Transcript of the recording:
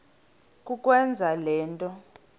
kukwenza le nto